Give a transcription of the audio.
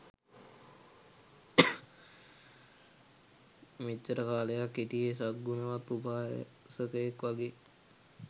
මෙච්චර කාලයක් හිටියේ සත් ගුණවත් උපාසකයෙක් වගේ.